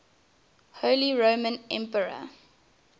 holy roman emperor